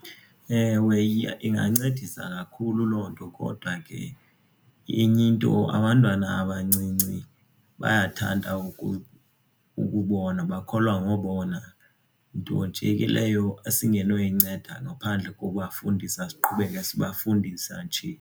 Ewe, ingancedisa kakhulu loo nto kodwa ke enye into abantwana abancinci bayathanda ukubona, bakholwa ngobona nto nje ke leyo esingenoyinceda ngaphandle kokubafundisa siqhubeke sibafundisa nje.